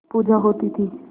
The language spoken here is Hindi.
पूजा होती थी